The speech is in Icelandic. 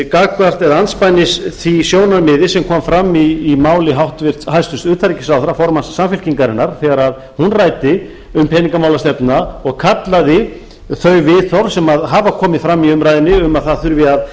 gagnvart eða andspænis því sjónarmiði sem kom fram í máli hæstvirts utanríkisráðherra formanns samfylkingarinnar þegar hún ræddi um peningamálastefnuna og kallaði þau viðhorf sem hafa komið fram í umræðunni um að það þurfi að